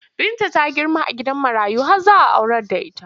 Binta ta girma a gidan marayu har za a aurar da ita.